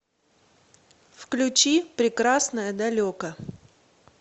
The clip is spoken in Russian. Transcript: включи прекрасное далеко